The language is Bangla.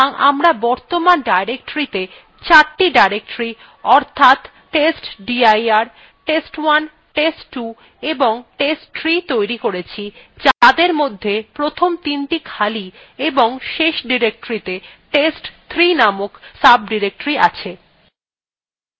সুতরাং আমরা বর্তমান ডিরেক্টরীতে চারটি directory অর্থাৎ testdir test1 test2 এবং testtree তৈরি করেছি যাদের মধ্যে প্রথমটি তিনটি খালি এবং শেষডিরেক্টরীতে test3 নামক sodirectory আছে